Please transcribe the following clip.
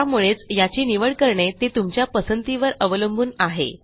त्यामुळेच याची निवड करणे ते तुमच्या पसंतीवर अवलंबून आहे